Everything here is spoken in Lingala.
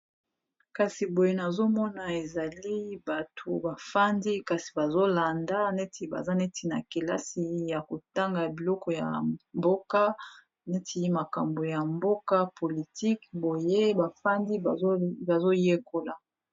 kasi boye nazomona ezali bato bafandi kasi bazolanda neti baza neti na kelasi ya kotanga biloko ya mboka neti makambo ya mboka politike boye bafandi bazoyekola